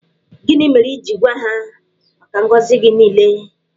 Gịnị mere i ji gwa ha maka ngọzị gị niile?